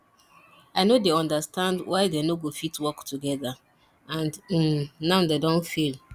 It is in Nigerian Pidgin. i no dey understand why dey no go fit work together and um now dey don fail